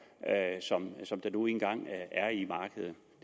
som der nu engang